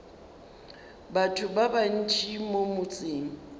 batho ba bantši mo motseng